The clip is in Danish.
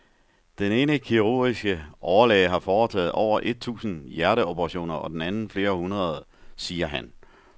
Den ene kirurgiske overlæge har foretaget over et tusind hjerteoperationer og den anden flere hundrede, siger han.